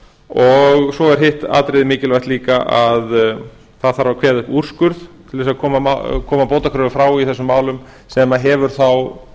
og svo er hitt atriðið mikilvægt líka að það þarf að kveða upp úrskurð til að koma bótakröfu frá í þessum málum sem hefur þá